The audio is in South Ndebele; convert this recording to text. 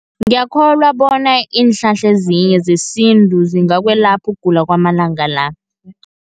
Ngiyakholwa bona, iinhlahla ezinye zesintu zingakwelapha ukugula kwamalanga la.